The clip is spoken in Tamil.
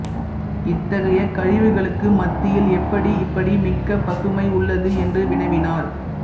இத்தகைய கழிவுகளுக்கு மத்தியில் எப்படி இப்படி மிக்க பசுமை உள்ளது என்று வினவினார்